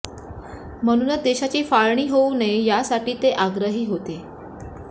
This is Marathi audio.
म्हणूनच देशाची फाळणी होऊ नये यासाठी ते आग्रही होते